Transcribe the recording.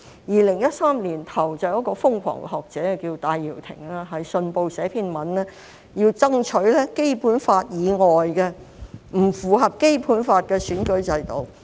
2013年年初，有一位瘋狂學者叫戴耀廷，在《信報》撰寫一篇文章，要爭取《基本法》以外、不符合《基本法》的選舉制度。